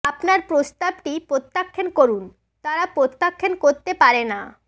আপনার প্রস্তাবটি প্রত্যাখ্যান করুন তারা প্রত্যাখ্যান করতে পারে না